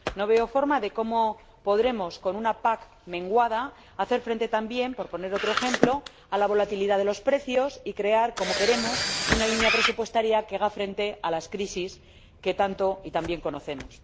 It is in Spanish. No veo cómo, con una PAC menguada, podremos hacer frente también, por poner otro ejemplo, a la volatilidad de los precios y crear, como queremos, una línea presupuestaria que haga frente a las crisis que tanto y tan bien conocemos.